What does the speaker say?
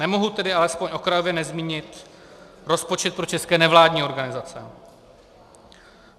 Nemohu tedy alespoň okrajově nezmínit rozpočet pro české nevládní organizace.